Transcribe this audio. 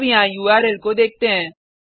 अब यहाँ उर्ल को देखते हैं